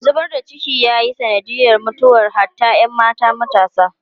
Zubar da ciki ya yi sanadiyar mutuwar hatta ‘yan mata matasa.